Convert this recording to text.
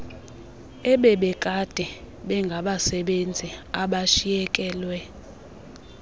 ebebekade bengabasebenzi abashiyekelwe